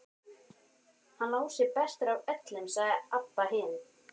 Hann Lási er bestur af öllum, sagði Abba hin.